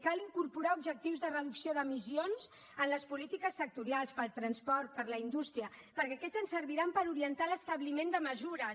cal incorporar objectius de reducció d’emissions en les polítiques sectorials pel transport per la indústria perquè aquests ens serviran per orientar l’establiment de mesures